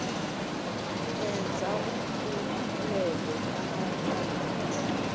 enze umbulelo amaphakathi